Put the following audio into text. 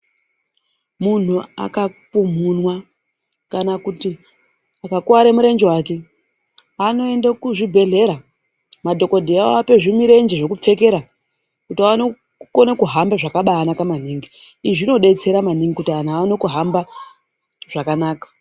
Munhu akapumhunwa kana kuti akakuware murenje wake. Anoenda kuzvibhedhlera, madhokotera oape zvimirenje zvokupfekera kuti vaone kukone kuhamba zvakabaanaka maningi. Izvi zvinodetsera maningi kuti anthu aone kuhamba zvakanaka.